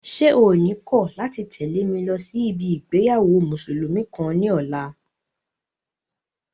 Ṣé o ní kọ̀ láti tẹ̀lé mi lọ sí ibi ìgbéyàwó mùsùlùmí kan ní ọ̀la?